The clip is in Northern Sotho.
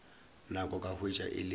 nako ka hwetša e le